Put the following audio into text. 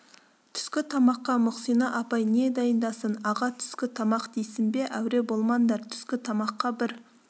түскі тамаққа мұхсина апай не дайындасын аға түскі тамақ дейсің бе әуре болмаңдар түскі тамаққа бір